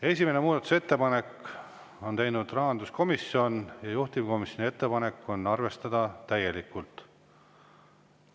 Esimese muudatusettepaneku on teinud rahanduskomisjon ja juhtivkomisjoni ettepanek on arvestada täielikult.